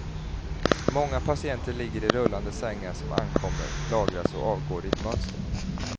Många patienter ligger i rullande sängar som ankommer, lagras och avgår i ett mönster.